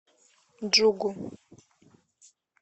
джугу